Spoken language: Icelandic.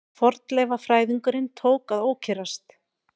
Fornleifafræðingurinn tók að ókyrrast.